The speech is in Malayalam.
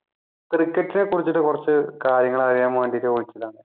cricket നെ കുറിച്ചിട്ട് കുറച്ച് കാര്യങ്ങൾ അറിയാൻ വേണ്ടീട്ട് വിളിച്ചതാണ്.